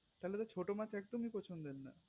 তালে তো ছোট মাছ একদমই পছন্দের না